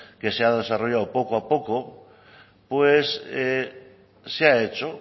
que se ha desarrollado poco a poco pues se ha hecho